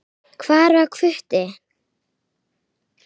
Hvar var Hvutti?